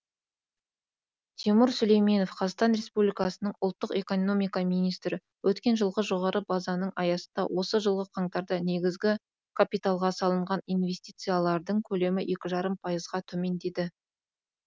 тимур сүлейменов қазақстан республикасының ұлттық экономика министрі өткен жылғы жоғары базаның аясында осы жылғы қаңтарда негізгі капиталға салынған инвестициялардың көлемі екі жарым пайызға төмендеді